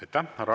Aitäh!